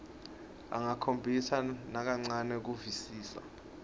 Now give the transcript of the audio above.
angakhombisi nakancane kuvisisa